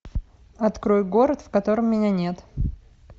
открой город в котором меня нет